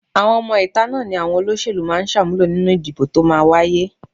Àwọn ọmọ-ìta náà ni àwọn olóṣèlú máa ṣàmúlò nínú ìdìbò tó máa wáyé